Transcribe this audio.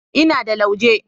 Ina da lauje.